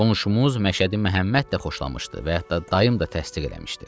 Qonşumuz Məşədi Məhəmməd də xoşlamışdı və yaxud da dayım da təsdiq eləmişdi.